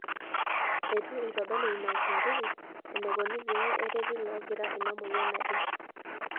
Eitu eitodolu ina uchunguzi enaikoni pee ereti loogira ina moyian ajing'.